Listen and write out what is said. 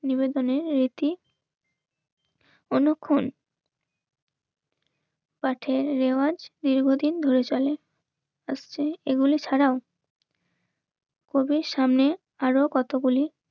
নিবেদনের রীতি অনক্ষণ পাঠের রেওয়াজ দীর্ঘদিন ধরে চলে আসছে এগুলি ছাড়াও কবির সামনে আরো কতগুলি